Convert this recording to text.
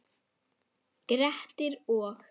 Grettir og